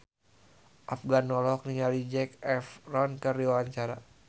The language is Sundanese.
Afgan olohok ningali Zac Efron keur diwawancara